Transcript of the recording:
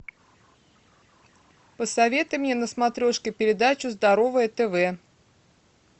посоветуй мне на смотрешке передачу здоровое тв